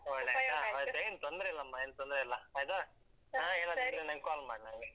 ಏನ್ ತೊಂದ್ರೆ ಇಲ್ಲಮ್ಮ ಏನ್ ತೊಂದ್ರೆಯಿಲ್ಲ. ಆಯ್ತಾ ಹಾ ಏನಾದ್ರು call ಮಾಡು ನಂಗೆ.